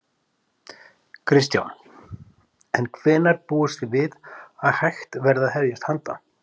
Kristján: En hvenær búist þið við að hægt verði að hefjast handa?